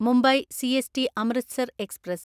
Mumbai CST Amritsar express